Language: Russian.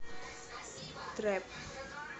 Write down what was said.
трэп